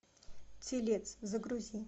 телец загрузи